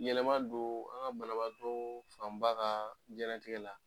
Yɛlɛma don an ka banabaatɔ fanba ka jinɛnaigɛ la.